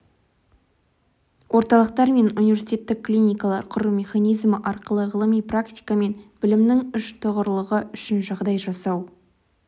орталықтар мен университеттік клиникалар құру механизмі арқылы ғылым практика мен білімнің үштұғырлығы үшін жағдай жасау